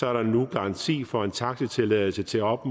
er der nu garanti for en taxitilladelse til op